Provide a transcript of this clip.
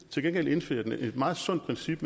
til gengæld indfrier den et meget sundt princip